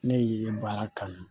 Ne ye baara kanu